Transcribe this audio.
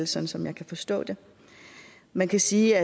sådan som jeg forstår det man kan sige